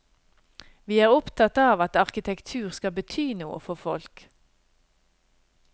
Vi er opptatt av at arkitektur skal bety noe for folk.